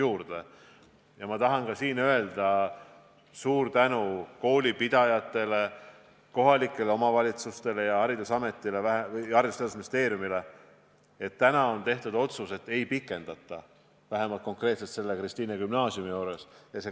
Siinkohal tahan ma öelda suure tänu koolipidajatele, kohalikele omavalitsustele ning Haridus- ja Teadusministeeriumile, et täna on tehtud otsus, et kooliaastat ei pikendata, vähemalt selles Kristiine gümnaasiumis mitte.